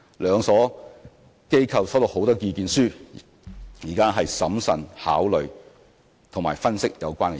兩所機構收到很多意見書，現正審慎地考慮及分析有關意見。